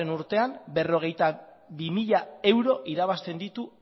urtean berrogeita bi mila euro irabazten ditu